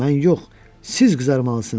Mən yox, siz qızarmalısınız.